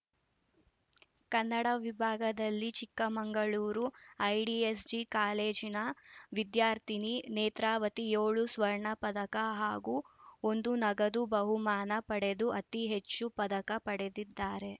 ಕನ್ನಡ ವಿಭಾಗದಲ್ಲಿ ಚಿಕ್ಕಮಗಳೂರು ಐಡಿಎಸ್‌ಜಿ ಕಾಲೇಜಿನ ವಿದ್ಯಾರ್ಥಿನಿ ನೇತ್ರಾವತಿ ಏಳು ಸ್ವರ್ಣ ಪದಕ ಹಾಗೂ ಒಂದು ನಗದು ಬಹುಮಾನ ಪಡೆದು ಅತಿ ಹೆಚ್ಚು ಪದಕ ಪಡೆದಿದ್ದಾರೆ